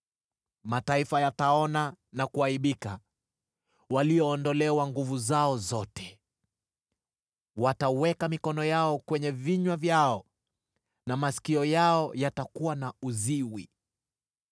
Mataifa yataona na kuaibika, waliondolewa nguvu zao zote. Wataweka mikono yao kwenye vinywa vyao na masikio yao yatakuwa na uziwi.